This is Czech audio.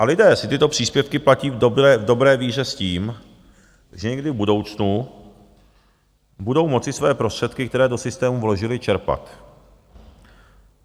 A lidé si tyto příspěvky platí v dobré víře s tím, že někdy v budoucnu budou moci své prostředky, které do systému vložili, čerpat.